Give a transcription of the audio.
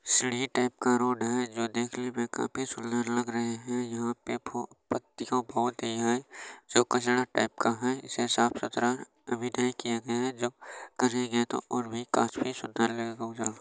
सीढ़ी टाइप का रोड है जो देखने में काफी सुन्दर लग रहे है यहाँ पे फुल पत्तीया बोहत ही है जो कचरा टाइप का है इसे साफ-सुथरा अभी नहीं किया गया है जब करेंगे तो और भी काफी सुंदर लगेगा उजला --